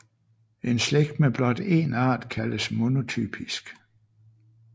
En slægt med blot en art kaldes monotypisk